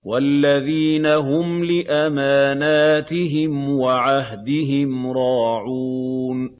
وَالَّذِينَ هُمْ لِأَمَانَاتِهِمْ وَعَهْدِهِمْ رَاعُونَ